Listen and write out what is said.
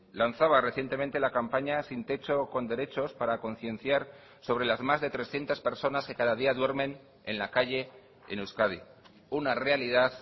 lanzaba recientemente la campaña sin techo con derechos para concienciar sobre las más de trescientos personas que cada día duermen en la calle en euskadi una realidad